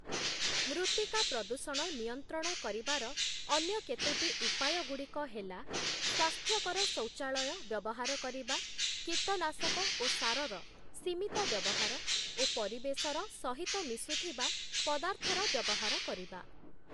ମୃତ୍ତିକା ପ୍ରଦୂଷଣ ନିୟନ୍ତ୍ରଣ କରିବାର ଅନ୍ୟ କେତୋଟି ଉପାୟଗୁଡ଼ିକ ହେଲା, ସ୍ଵାସ୍ଥ୍ୟକର ଶୌଚାଳୟ ବ୍ୟବହାର କରିବା, କୀଟନାଶକ ଓ ସାରର ସିମିତ ବ୍ୟବହାର ଓ ପରିବେଶର ସହିତ ମିଶୁଥିବା ପଦାର୍ଥର ବ୍ୟବହାର କରିବା ।